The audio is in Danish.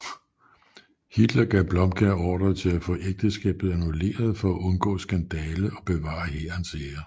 Hitler gav Blomberg ordre til at få ægteskabet annulleret for at undgå skandale og bevare hærens ære